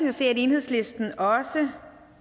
at se at enhedslisten også